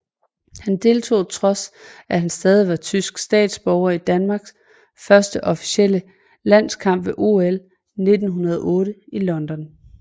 Han deltog trods at han stadig var tysk statsborger i Danmarks første officielle landskamp ved OL 1908 i London